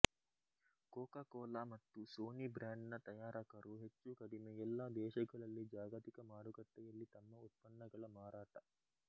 Coca Cola ಮತ್ತು Sony ಬ್ರಾಂಡ್ನ ತಯಾರಕರು ಹೆಚ್ಚುಕಡಿಮೆ ಎಲ್ಲಾ ದೇಶಗಳಲ್ಲಿ ಜಾಗತಿಕ ಮಾರುಕಟ್ಟೆಯಲ್ಲಿ ತಮ್ಮ ಉತ್ಪನ್ನಗಳ ಮಾರಾಟ